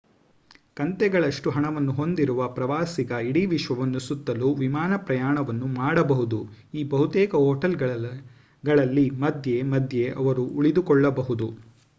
ಕಂತೆಗಳಷ್ಟು ಹಣವನ್ನು ಹೊಂದಿರುವ ಪ್ರವಾಸಿಗ ಇಡೀ ವಿಶ್ವವನ್ನು ಸುತ್ತಲು ವಿಮಾನ ಪ್ರಯಾಣವನ್ನು ಮಾಡಬಹುದು ಈ ಬಹುತೇಕ ಹೋಟೆಲ್‌ಗಳಲ್ಲಿ ಮಧ್ಯೆ ಮಧ್ಯೆ ಅವರು ಉಳಿದುಕೊಳ್ಳಬಹುದು